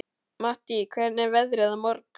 Mattý, hvernig er veðrið á morgun?